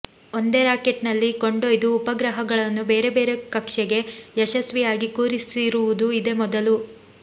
ಒಂದೇ ರಾಕೆಟ್ನಲ್ಲಿ ಕೊಂಡೊಯ್ದ ಉಪಗ್ರಹ ಗಳನ್ನು ಬೇರೆ ಬೇರೆ ಕಕ್ಷೆಗೆ ಯಶಸ್ವಿಯಾಗಿ ಕೂರಿಸಿರು ವುದು ಇದೇ ಮೊದಲು